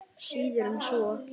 Síður en svo.